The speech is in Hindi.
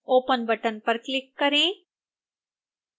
open button पर click करें